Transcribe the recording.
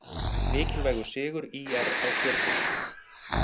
Mikilvægur sigur ÍR á Stjörnunni